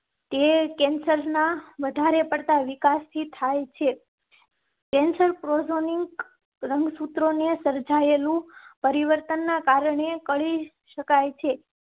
તે cancer ના વધારે પડતા વિકાસ થી થાય છે. કેન્સર ક્રો નિક રંગસૂત્રોને સર્જાયેલું પરિવર્તન ના કારણે કરી શકાય છે.